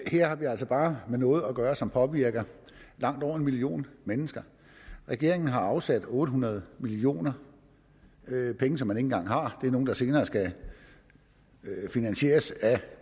her har vi altså bare med noget at gøre som påvirker langt over en million mennesker regeringen har afsat otte hundrede million kr penge som man ikke engang har det er nogle der senere skal finansieres af